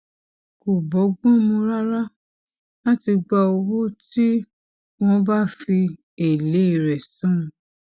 kò bógbón mu rárá láti gba owó tí wón bá fi èlé rè san